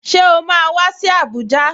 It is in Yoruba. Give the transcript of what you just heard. Ṣé o máa wá sí Abuja?